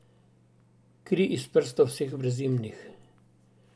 Kri iz prstov vseh brezimnih.